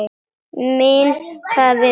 Minnka við okkur.